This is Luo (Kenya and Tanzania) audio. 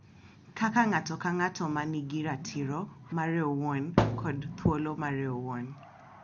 Kaka ng’ato ka ng’ato ma nigi ratiro mare owuon kod thuolo mare owuon.